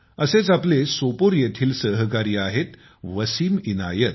असेच आपले सोपोर येथील सहकारी आहेतवसिम इनायत